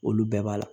Olu bɛɛ b'a la